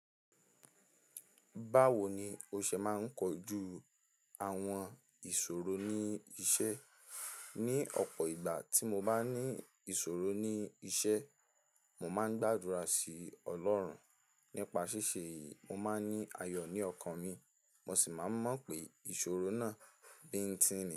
Báwo ni o ṣe máa ń kojú àwọn ìṣòro ní iṣẹ́? Ni ọ̀pọ̀ ìgbà tí mo bá ní ìṣòro ní iṣẹ́, mo máa ń gbàdúrà sí Ọlọ́run. Nípa ṣíṣe yìí, mo máa ní ayọ̀ ní ọkàn mi, mo sì máa n mọ̀ pé ìṣòro náà bíńtìnì ni.